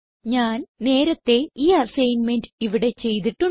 ഞാൻ നേരത്തേ ഈ അസൈൻമെന്റ് ഇവിടെ ചെയ്തിട്ടുണ്ട്